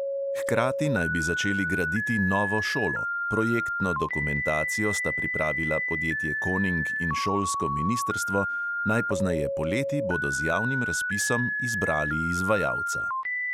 Hkrati naj bi začeli graditi novo šolo; projektno dokumentacijo sta pripravila podjetje koning in šolsko ministrstvo, najpozneje poleti bodo z javnim razpisom izbrali izvajalca.